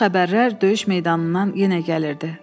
Xoş xəbərlər döyüş meydanından yenə gəlirdi.